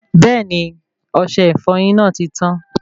Bẹẹni, ọsẹ ìfọyín náà ti tán